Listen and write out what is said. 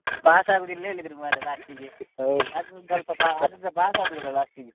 Pass ಆಗುದಿಲ್ಲಾ ಹೇಳಿದ್ರು ಮಾರ್ರೆ last ಗೆ pass ಆದ್ವಿಯಲ್ಲಾ last ಗೆ.